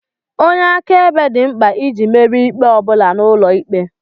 Onye akaebe dị mkpa iji merie ikpe ọ bụla n'ụlọ ikpe